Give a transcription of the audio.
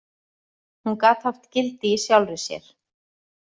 Hún gat haft gildi í sjálfri sér.